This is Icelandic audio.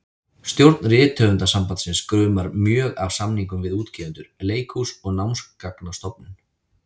Stjórn Rithöfundasambandsins gumar mjög af samningum við útgefendur, leikhús og Námsgagnastofnun.